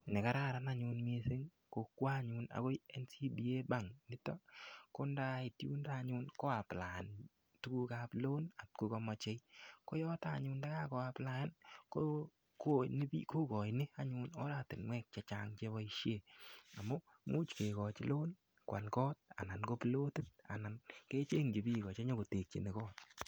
Nekararan anyun missing ko kwo anyun akoi NCBA bank nito ko ndait yundo anyun koaplian tukuk ap loan atkokamochei ko yotok anyun ndakakoaplayan kokoini anyun oratinwek che chang cheboishe amu much kekoch loan koal koot anan ko pilotit anan kechengchi biko chenyokotekchini koot